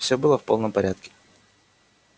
всё было в полном порядке